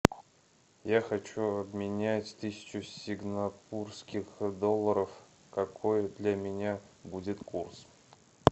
я хочу обменять тысячу сингапурских долларов какой для меня будет курс